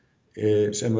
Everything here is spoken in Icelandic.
sem